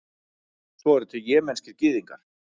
svo eru til jemenskir gyðingar